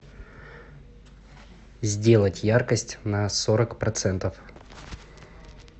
сделать яркость на сорок процентов